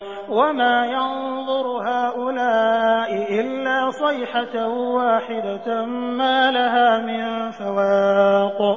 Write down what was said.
وَمَا يَنظُرُ هَٰؤُلَاءِ إِلَّا صَيْحَةً وَاحِدَةً مَّا لَهَا مِن فَوَاقٍ